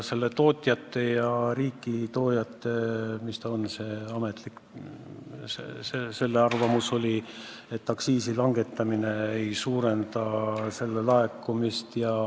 Aga tootjate ja riiki toojate arvamus oli, et aktsiisimäära langetamine ei suurenda aktsiiside laekumist.